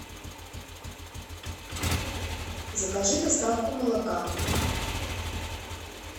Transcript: закажи доставку молока